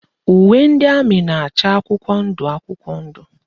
Uwe ndị amị na-acha akwụkwọ ndụ akwụkwọ ndụ